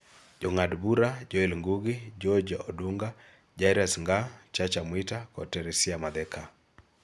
Jong'ad bura Jong'ad bura Joel Ngugi, George Odunga, Jairus Ngaah, Chacha Mwita kod Teresiah Matheka